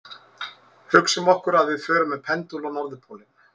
Hugsum okkur að við förum með pendúl á norðurpólinn.